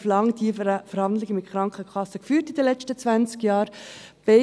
Ich habe diese Verhandlungen mit den Krankenkassen in den letzten zwanzig Jahren geführt.